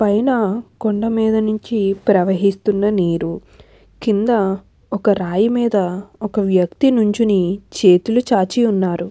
పైన కొండ మీద నుంచి ప్రవహిస్తున్న నీరు కింద ఒక రాయి మీద ఒక వ్యక్తి నుంచోని చేతులు చాచి ఉన్నారు.